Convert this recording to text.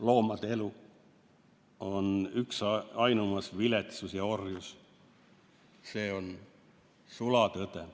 Loomade elu on üks ainumas viletsus ja orjus – see on sulatõde.